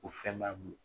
Ko fɛn b'a bolo